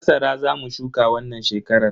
Masara Za mu shuka wannan shekarar.